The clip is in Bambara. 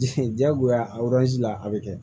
jagoya la a bɛ kɛ